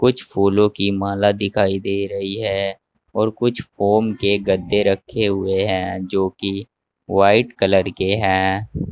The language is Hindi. कुछ फूलों की माला दिखाई दे रही है और कुछ फोम के गद्दे रखे हुए हैं जोकि व्हाइट कलर के हैं।